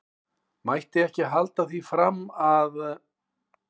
Mætti ekki halda því fram að.